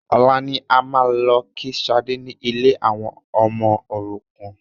Ọ̀la ni a máa lọ kí Sadé ni ilé àwọn ọmọ òrukàn